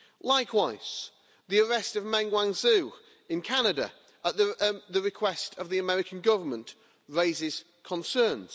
Likewise, the arrest of Meng Wanzhou in Canada at the request of the American Government raises concerns.